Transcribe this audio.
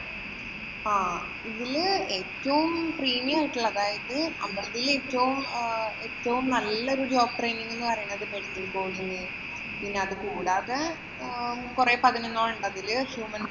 ആഹ് ഇതില് ഏറ്റവും premium ആയിട്ടുള്ളത് അതായത് ഉള്ളതില്‍ ഏറ്റവും നല്ല ഒരു job training എന്ന് പറയുന്നത് medical coding പിന്നെ അതുകൂടാതെ പിന്നെ കൊറേ പതിനൊന്നോളം ഉള്ളതില്‍ human